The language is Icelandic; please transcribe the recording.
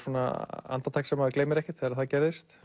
andartak sem maður gleymir ekki þegar það gerðist